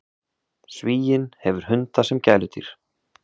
Svíinn hefur hunda sem gæludýr.